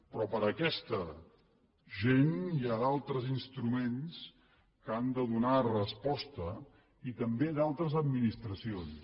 però per aquesta gent hi ha d’altres instruments que han de donar hi resposta i també d’altres administracions